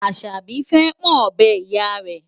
Àṣàbí fẹ́ pọ́n ọ̀bẹ Ìyá rẹ̀.